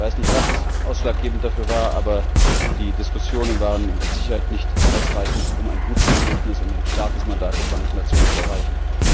Ich weiß nicht, was ausschlaggebend dafür war, aber die Diskussionen waren mit Sicherheit nicht ausreichend, um ein gutes Ergebnis und ein starkes Mandat der Vereinten Nationen zu erreichen.